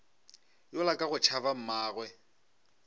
yola ka go tšhaba mmagwe